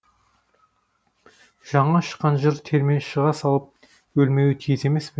жаңа шыққан жыр терме шыға салып өлмеуі тиіс емес пе